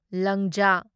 ꯂꯪꯖꯥ